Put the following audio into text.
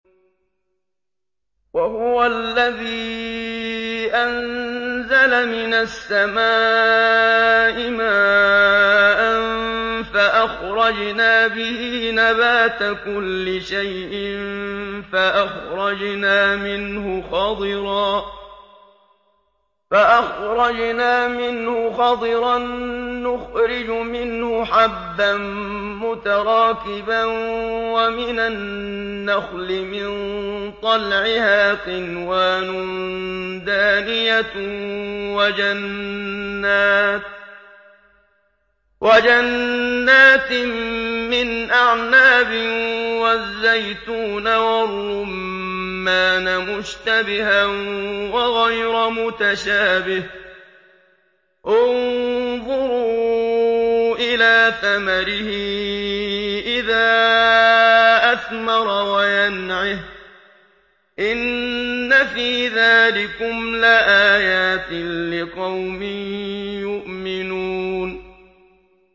وَهُوَ الَّذِي أَنزَلَ مِنَ السَّمَاءِ مَاءً فَأَخْرَجْنَا بِهِ نَبَاتَ كُلِّ شَيْءٍ فَأَخْرَجْنَا مِنْهُ خَضِرًا نُّخْرِجُ مِنْهُ حَبًّا مُّتَرَاكِبًا وَمِنَ النَّخْلِ مِن طَلْعِهَا قِنْوَانٌ دَانِيَةٌ وَجَنَّاتٍ مِّنْ أَعْنَابٍ وَالزَّيْتُونَ وَالرُّمَّانَ مُشْتَبِهًا وَغَيْرَ مُتَشَابِهٍ ۗ انظُرُوا إِلَىٰ ثَمَرِهِ إِذَا أَثْمَرَ وَيَنْعِهِ ۚ إِنَّ فِي ذَٰلِكُمْ لَآيَاتٍ لِّقَوْمٍ يُؤْمِنُونَ